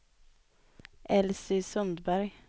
Elsy Sundberg